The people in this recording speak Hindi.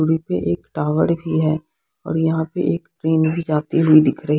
वही पे एक टावर भी है और यहां पे एक ट्रेन भी जाती दिख रही--